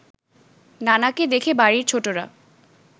নানাকে দেখে বাড়ির ছোটরা